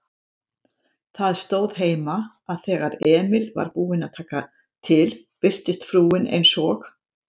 Það stóð heima, að þegar Emil var búinn að taka til birtist frúin eins og